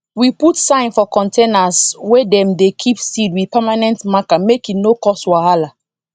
we put sign for containers wey dem dey keep seed with permanent marker make e no cause whala